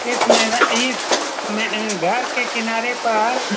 इस में न इस में अ घर के किनारे पर--